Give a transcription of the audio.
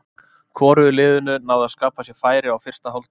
Hvorugu liðinu náði að skapa sér færi á fyrsta hálftímanum.